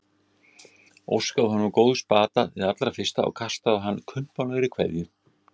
Óskaði honum góðs bata hið allra fyrsta og kastaði á hann kumpánlegri kveðju.